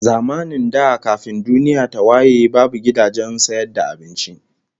Zamanin da kafin duniya ta waye babu gidajen sayar da abinci